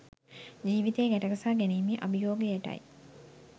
ජීවිතය ගැට ගසා ගැනීමේ අභියෝගයටයි.